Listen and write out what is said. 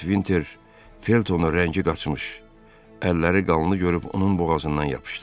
Lord Vinter Feltonu rəngi qaçmış, əlləri qanlı görüb onun boğazından yapışdı.